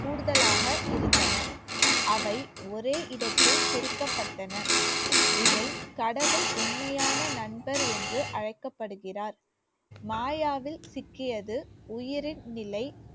கூடுதலாக இருந்தன. அவை ஒரே இடத்தில் குறிக்கப்பட்டன இதில் கடவுள் உண்மையான நண்பர் என்று அழைக்கப்படுகிறார். மாயாவில் சிக்கியது உயிரின் நிலை